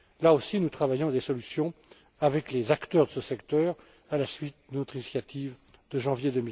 Là aussi, nous œuvrons à des solutions avec les acteurs de ce secteur, à la suite de notre initiative de janvier